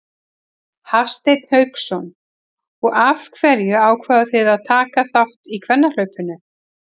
Hafsteinn Hauksson: Og af hverju ákváðuð þið að taka þátt í kvennahlaupinu?